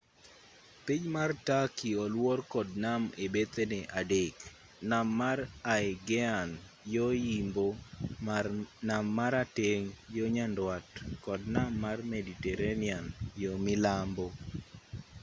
piny mar turkey oluor kod nam ebethene adek nam mar aegean yo-yimbo nam marateng' yo-nyandwat kod nam mar mediterranean yo-milambo